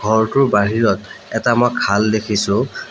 ঘৰটোৰ বাহিৰত এটা মই খাল দেখিছোঁ।